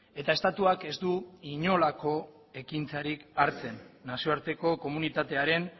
eta estatuak ez du inolako ekintzarik hartzen nazioarteko komunitatearen